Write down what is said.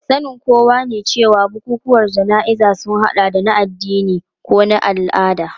Sanin kowa ne cewa bukukuwan jana'izar sun hada da na addini ko na al'ada.